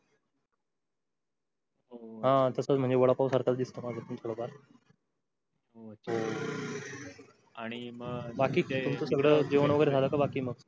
हा तसच म्हणे वडापाव सार्क दिसतो बाकी तुमच जेवण वगेरे झाल का बाकी मग?